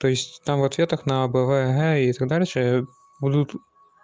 то есть там в ответах на а б в г и так дальше будут